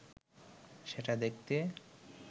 সেটা দেখতে